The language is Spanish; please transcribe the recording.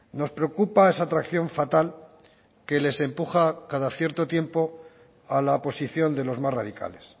nos preocupa esa atracción fatal que les empuja cada cierto tiempo a la posición de los más radicales